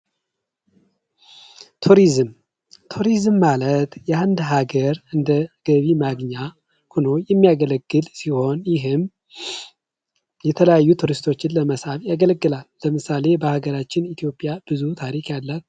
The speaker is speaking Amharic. ቱሪዝም ቱሪዝም ማለት ሀገር እንደገቢ ማግኛ የሚያገለግል ሲሆን ይህም የተለያዩ ለመሳብ ያገለግላል በተለይ በሀገራችን ኢትዮጵያ ብዙ ታሪክ ያላት